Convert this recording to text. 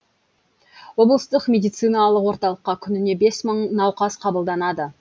облыстық медициналық орталыққа күніне бес мың науқас қабылданады